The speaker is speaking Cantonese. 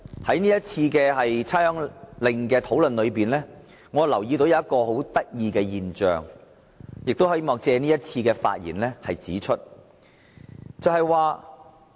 關於這項命令的討論，我留意到一種很有趣的現象，希望在這次發言中指出。